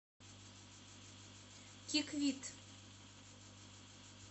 киквит